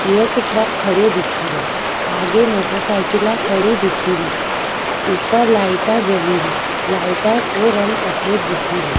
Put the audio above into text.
एक ट्रक खड़यो दिखे रियो आगे मोटरसाइकिला खड़ी दिखे री ऊपर लाइटा जली री लाइटा को रंग सफ़ेद दिखे रियो।